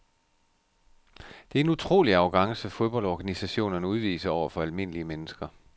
Det er en utrolig arrogance fodboldorganisationerne udviser over for almindelige mennesker.